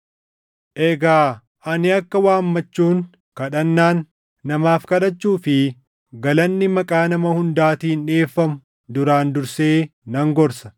Egaa ani akka waammachuun, kadhannaan, namaaf kadhachuu fi galanni maqaa nama hundaatiin dhiʼeeffamu duraan dursee nan gorsa;